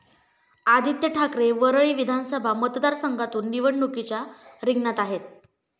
आदित्य ठाकरे वरळी विधानसभा मतदारसंघातून निवडणुकीच्या रिंगणात आहेत.